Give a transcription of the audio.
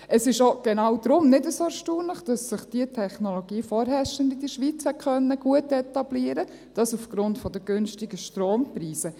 Es ist auch genau deshalb nicht so erstaunlich, dass sich diese Technologie vorherrschend in der Schweiz etablieren konnte – dies aufgrund der günstigen Strompreise.